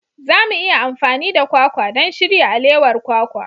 Za mu iya amfani da kwakwa don shirya alewar kwakwa.